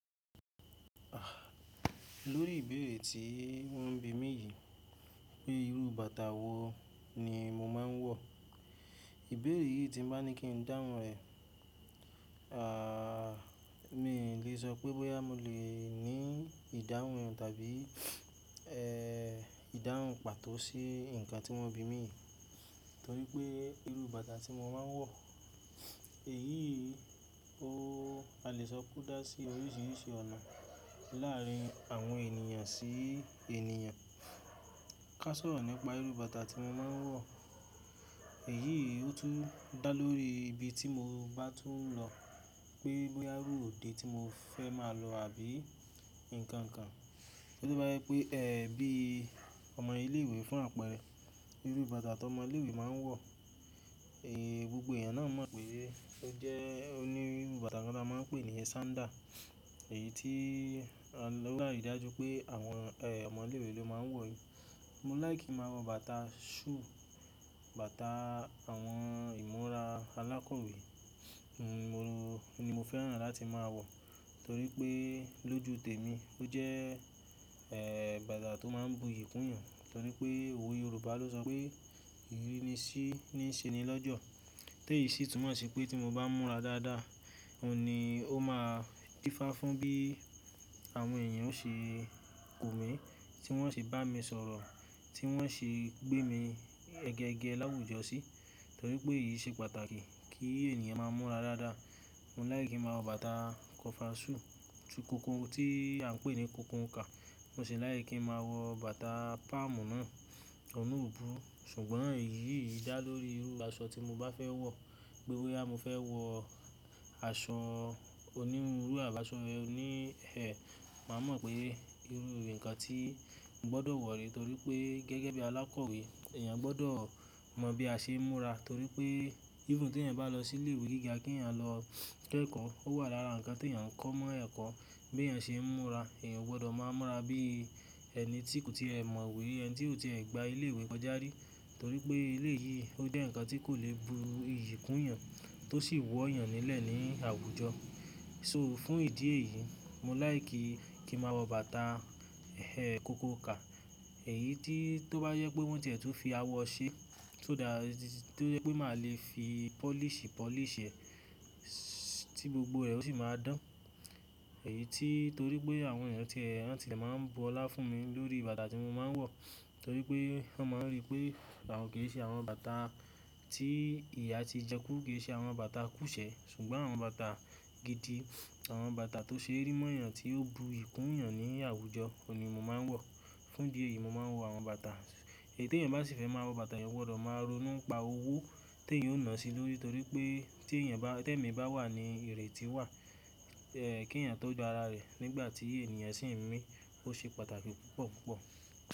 Lórí ìbéèrè tí wọ́n ń bi mí yìí pé irú bàtà wo ni mo máa ń wọ̀. Ìbéèrè yìí tí bá ní kí n dáhùn rẹ̀, à, mi ò lè sọ pé bóyá mo lè ní ìdáhùn tàbí, ẹ́, ìdáhùn pàtó sí nǹkan tí wọ́n ń bi mí yìí torí pé irú bàtà tí mo máa ń wọ̀, èyí o, a lè sọ pe o dà sí oríṣiríṣi ọ̀nà láàrin àwọn ènìyàn sí ènìyàn. Ká sọ̀rọ̀ nípa irú bàtà tí mo máa ń wọ̀. Èyí ó tún dà lórí ibi tí mo bá tún lọ pé bóyá irú òde tí mo fẹ́ máa lọ àbí ǹkan kan. TÓ ba jẹ pé, ẹ́, bí ọmọ ilé ìwé fún àpẹẹrẹ, irú bàtà t'ọmọ ilé ìwé máa ń wọ̀, eh, gbogbo èèyàn náà mọ̀ pé ó jẹ́ oníru bàtà kan tí a máa ń pè ní sandal. Èyí tí, ó dájú pé àwọn, ẹ́, ọmọ ilé ìwé ló máa ń wọ̀ í. Mo like kin máa wọ bàtà shoe, bàtà àwọn ìmúra alákọ̀wé, mo, ni mo fẹ́ràn láti máa wọ̀ torí pé lójú tèmi ó jẹ́, ẹ́, bàtà tó máa ń buyì kún yàn torí pé òwe Yorùbá ló sọ pé ìrírí ni sí ní ṣe ni lọ́jọ́. Tèyí sì tún mọ̀ sí pé tí mo bá múra dáadáa, òun ni ó máa dífá fún bí àwọn èèyàn ó ṣe kò mi, tí wọ́n ṣe bá mi sọ̀rọ̀, tí wọ́n ṣe gbé mi gẹ́gẹ́ láwùjọ sí torí pé èyí ṣe pàtàkì kí ènìyàn máa múra dáadáa. Mo lìke kí máa wọ bàtà cover shoe, ti kokoo tí à ń pè ní kokoo kà. Mo sì like kí máa wọ bàtà palm náà, ọ̀un nà ò bury. Ṣùgbọ́n èyí dà lórí irú aṣọ tí mo bá fẹ́ wọ̀. Bóyá mo fẹ́ wọ aṣọ oníruru àb'aṣọ oní ẹ̀, màá mọ̀ pé irú ǹkan tí mo gbọdọ̀ wọ̀ ree torí pé gẹ́gẹ́ bí alákọ̀wé, èèyàn gbọdọ̀ mọ bí a ṣe ń múra torí pé even tí ẹ̀eyan bá lọ sí ilé ìwé gíga kí ẹ̀eyan lọ kọ́ ẹ̀kọ́, ó wà lára nǹkan tí ẹ̀eyan ń kọ́ mọ́ ẹ̀kọ́, bí ẹ̀eyan ṣe ń múra. Ẹeyan ò gbọdọ̀ máa múra bí ẹni tí kò ti è mọ̀wé, ẹni tí ò ti è gba ilé ìwé kọjá rí torí pé eléyìí ó jẹ́ nǹkan tí kò lè bu iyì kún yàn tó sì wọ́ yàn nílẹ̀ ní àwùjọ. So fún ìdí èyí, mo láìkí kí ma wọ bàtà, ẹ́, kokoo kà. Èyí tí tó bá jẹ pé wọ́n tiẹ̀ tun fi awọ ṣe, so that, tó jẹ pé màá lè fi polish polish ẹ̀ tí gbogbo ẹ̀ ò sì máa dán. Èyí tí torí pé àwọn èèyàn tí ẹ́, wọ̀n tíe máa ń bu ọlá fún mi lórí bàtà tí mo máa ń wọ̀ torí pé wọ́n máa ń rí pé àwọn kì í ṣe àwọn bàtà tí ìyà ti jẹ kú, kì í ṣe àwọn bàtà kú ṣẹ̀. Ṣùgbọ́n àwọn bàtà gidi, àwọn bàtà tó ṣe rí mọ́ yàn tí ó bu iyì kún yàn ní àwùjọ, òun ni mo máa ń wọ̀. Fún ìdí èyí, mo máa ń wọ àwọn bàtà. Èyí tí ẹ̀eyan bá sì fẹ́ máa wọ bàtà, ẹ̀eyan o gbọdọ̀ máa ronú n'pa owó tí ẹ̀eyan ó nà sí lórí torí pé, tí èmi bá wà ní ireti wà, ẹ́, kí ẹ̀yin tó gba ara rẹ nígbà tí ènìyàn sì ń mí, ó ṣe pàtàkì púpọ̀ púpọ̀.